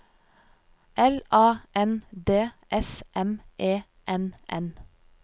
L A N D S M E N N